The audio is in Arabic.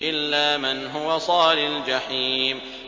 إِلَّا مَنْ هُوَ صَالِ الْجَحِيمِ